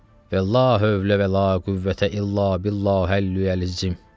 Və la hövlə və la qüvvətə illa billahil Əliyyil Əzim.